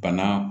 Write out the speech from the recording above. Bana